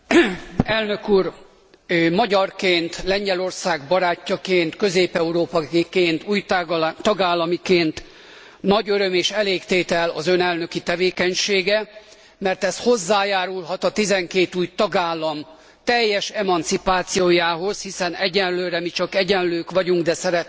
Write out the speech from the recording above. Elnök úr, magyarként, Lengyelország barátjaként, közép európaiként, új tagállamiként nagy öröm és elégtétel az Ön elnöki tevékenysége, mert ez hozzájárulhat a 12 új tagállam teljes emancipációjához, hiszen egyelőre mi csak egyenlők vagyunk, de szeretnénk